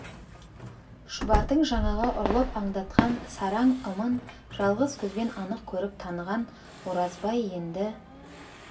шұбардың жаңағы ұрлап аңдатқан сараң ымын жалғыз көзбен анық көріп таныған оразбай енді